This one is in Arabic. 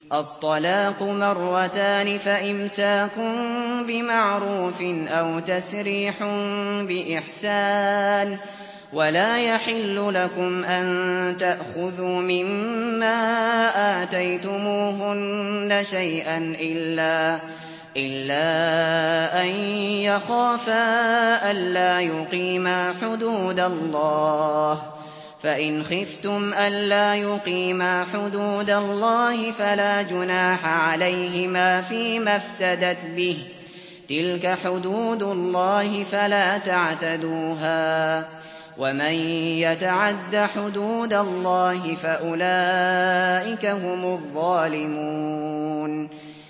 الطَّلَاقُ مَرَّتَانِ ۖ فَإِمْسَاكٌ بِمَعْرُوفٍ أَوْ تَسْرِيحٌ بِإِحْسَانٍ ۗ وَلَا يَحِلُّ لَكُمْ أَن تَأْخُذُوا مِمَّا آتَيْتُمُوهُنَّ شَيْئًا إِلَّا أَن يَخَافَا أَلَّا يُقِيمَا حُدُودَ اللَّهِ ۖ فَإِنْ خِفْتُمْ أَلَّا يُقِيمَا حُدُودَ اللَّهِ فَلَا جُنَاحَ عَلَيْهِمَا فِيمَا افْتَدَتْ بِهِ ۗ تِلْكَ حُدُودُ اللَّهِ فَلَا تَعْتَدُوهَا ۚ وَمَن يَتَعَدَّ حُدُودَ اللَّهِ فَأُولَٰئِكَ هُمُ الظَّالِمُونَ